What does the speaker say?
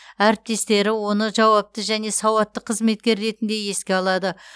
әріптестері оны жауапты және сауатты қызметкер ретінде еске алады